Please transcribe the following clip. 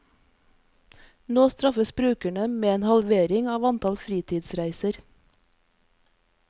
Nå straffes brukerne med en halvering av antall fritidsreiser.